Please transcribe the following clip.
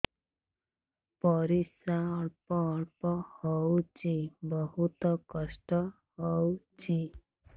ପରିଶ୍ରା ଅଳ୍ପ ଅଳ୍ପ ହଉଚି ବହୁତ କଷ୍ଟ ହଉଚି